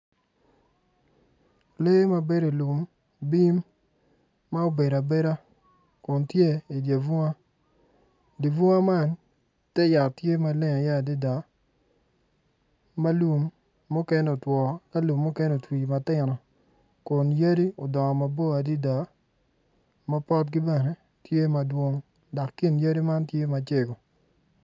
Lee ma bedo i lum bim ma obedo abeda kun tye i dye bunga. Dye bung man te yat tye i ye maleng adada ma lum mukene otwo ki mukene otwi kun yadi odongo mabor adada ma potgi bene tye madwong dok kin yadi man tye macego.